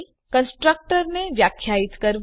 constructor ને વ્યાખ્યાયિત કરવું